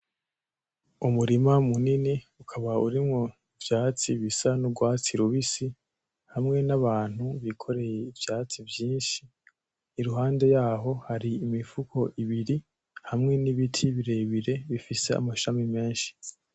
Umurima munini ukaba urimwo ivyatsi bisa n'urwatsi rubisi hamwe n'abantu bikoreye ivyatsi vyinshi, iruhande yaho hari imifuko ibiri hamwe n'ibiti birebire bifise amashami menshi.